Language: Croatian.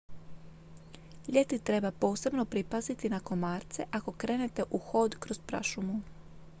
ljeti treba posebno pripaziti na komarce ako krenete u hod kroz prašumu